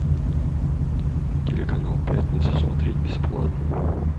телеканал пятница смотреть бесплатно